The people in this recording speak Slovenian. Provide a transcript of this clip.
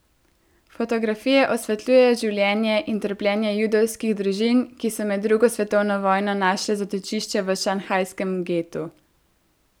Fotografije osvetljujejo življenje in trpljenje judovskih družin, ki so med drugo svetovno vojno našle zatočišče v šanghajskem getu.